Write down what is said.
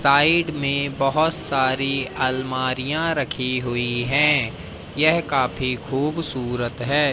Side में बहोत सारी अलमारियां रखी हुई है यह काफी खूबसूरत है।